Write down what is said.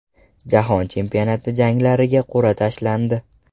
Jahon chempionati janglariga qur’a tashlandi.